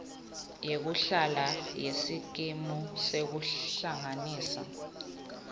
yekuhlala yesikimu sekuhlanganisa